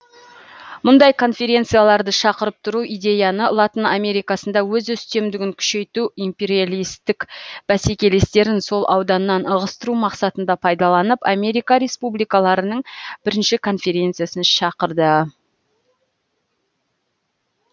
мұндай конференцияларды шақырып тұру идеяны латын америкасында өз үстемдігін күшейту империалистік бәсекелестерін сол ауданнан ығыстыру мақсатында пайдаланып америка республикаларының бірінші конференциясын шақырды